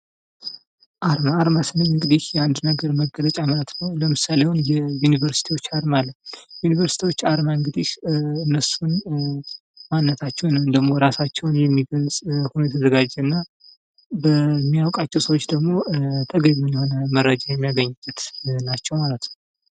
አርማ:- አርማ ስንል እንግዲህ የአንድ ነገር መገለጫ ማለት ነዉ። ለምሳሌ የዩኒቨርስቲዎችን አርማ አለ። ዩኒቨርስቲዎች አርማ እነሱን ማንነታቸዉን እራሳቸዉን የሚገልፅ ሆኖ የተዘጋጀና እና ለሚያዉቃቸዉ ሰዉ ደግሞ ተገቢዉን መረጃ የሚሰጥ ማለት ነዉ።